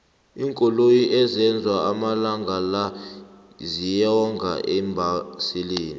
iinkoloyi ezenzwa amalangala ziyonga eembaselini